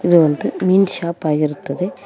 ಇದು ಒಂದು ಮೀನ್ ಶಾಪ್ ಆಗಿರುತ್ತದೆ.